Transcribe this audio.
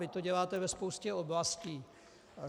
Vy to děláte ve spoustě oblastí.